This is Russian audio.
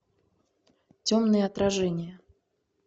темное отражение